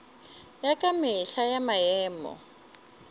ya ka mehla ya maemo